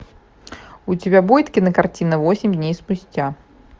у тебя будет кинокартина восемь дней спустя